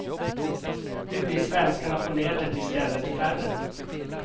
Nu blir svenskarna på nätet i stället färre.